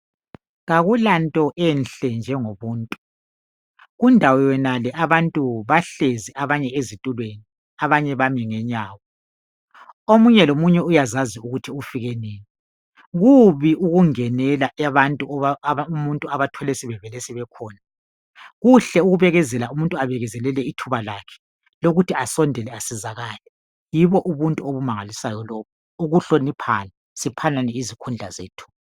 Akulanto enhle njengomuntu. Kundawo yonale abantu bahlezi abanye ezitulweni, abanye bami ngenyawo. Omunye lomunye uyazazi ukuthi ufike nini. Kubi ukungenela abantu umuntu obathole sebevele sebekhona. Kuhle ukubekezela umuntu abekezelele ithuba lakhe lokuthi asondele esiza ngapha. Yibo ubuntu obumangalisayo lobo, ukuhloniphana, siphanane izikhundla zethu.